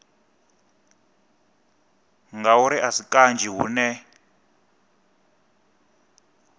ngauri a si kanzhi hune